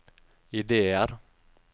ideer